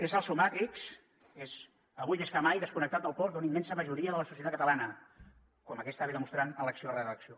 és el seu matrix avui més que mai desconnectat del tot d’una immensa majoria de la societat catalana com aquesta demostra elecció rere elecció